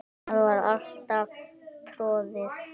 Það var alltaf troðið.